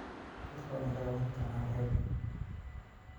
Dadku waa inay ka qaybqaataan habka.